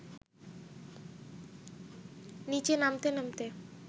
নিচে নামতে নামতে